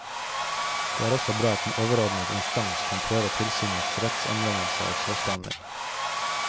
Det er også bra at en overordnet instans kan prøve tilsynets rettsanvendelse og saksbehandling.